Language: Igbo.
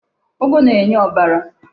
Ụgụ na-enye ọbara.